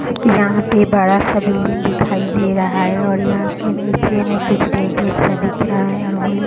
यहाँ पर बड़ा सा बिल्डिंग दिखाई दे रहा है और यहाँ के नीचे में कुछ गेट - वेट सा दिख रहा है और वो लोग --